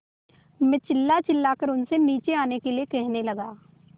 मैं चिल्लाचिल्लाकर उनसे नीचे आने के लिए कहने लगा